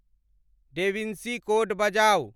Da Vinci Code बजाऊ